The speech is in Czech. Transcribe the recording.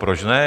Proč ne?